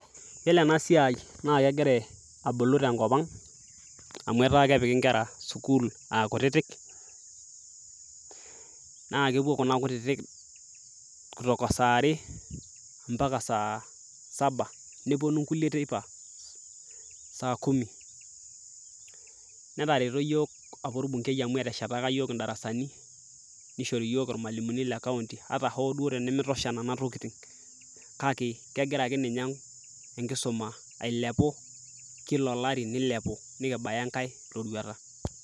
yiolo ena siai naa keira abulu tenkop ang amu etaa kepiki inkera sukul akutitik naa kepuo kuna kutitik kutoka saa are mpaka saa saba neponu nkulie teipa saa kumi netareto yiok apa orbungei amu eteshetaka iyiok indarasani nishori iyiok irmalimuni le kaunti ata hoo duo tenimitosha nana tokiting kake kegira akeninye enkisuma ailepu kila olari nilepu nikibaya enkae roruata.